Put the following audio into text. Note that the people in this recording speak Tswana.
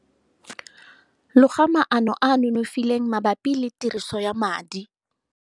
Loga maano a a nonofileng mabapi le tiriso ya madi.